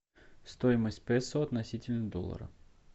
стоимость песо относительно доллара